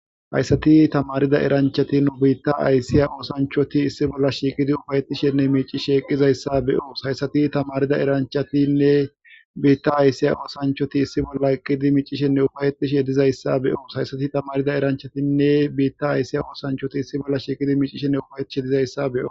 Hayssati tamarida eranchati nu biitta aysiya oosanchoti issi bolla shiiqidi ufayetishenne miici sheeqizayssa beyoos hayssati tamarida eranchatinne biitta ayssiya oosanchoti issi bolla eqqidi micishenne ufayetishe dizayssa beyoos hayssati tamarida eranchatinne biitta ayssiya oosanchoti issi bolla shiiqidi micishenne ufayetishe dizayssa be'o